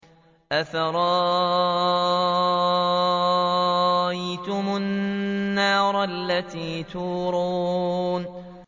أَفَرَأَيْتُمُ النَّارَ الَّتِي تُورُونَ